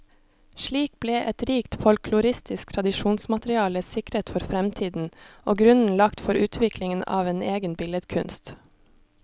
Slik ble et rikt folkloristisk tradisjonsmateriale sikret for fremtiden, og grunnen lagt for utviklingen av en egen billedkunst.